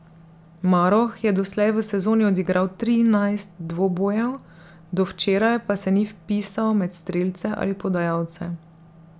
Maroh je doslej v sezoni odigral trinajst dvobojev, do včeraj pa se ni vpisal med strelce ali podajalce.